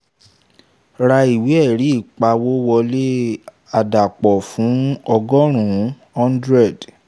ra ìwé ẹ̀rí ìpawówọlé àdàpọ̀ fún ọgọ́rún hundred